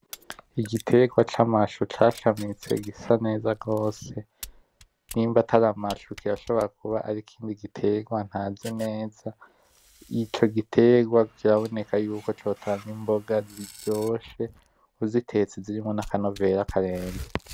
Igitegwa c'amashu cashamitse gisa neza gose, nimba atari amashu kirashobora kuba ari ikindi gitegwa ntazi neza. Ico gitegwa kiraboneka yuko cotanga imboga ziryoshe uzitetse zirimo n'akanovera karenze.